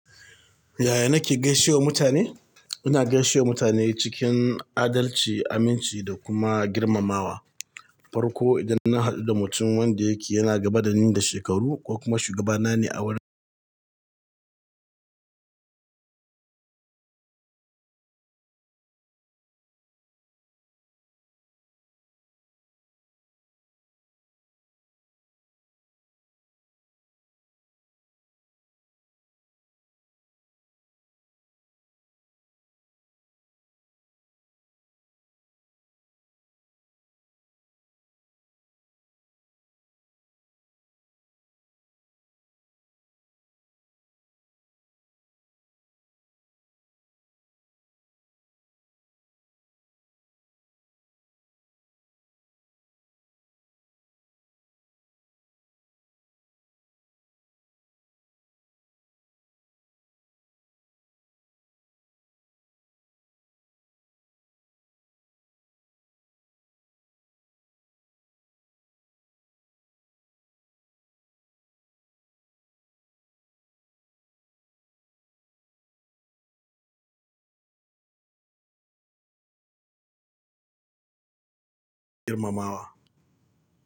Yaya nake gaishe wa mutane? Ina gaishe wa mutane cikin adalci, aminci da kuma girmamawa. Farko idan na haɗu da mutum wanda yake yana gaba da ni da shekaru ko kuma shugabana ne a wurin.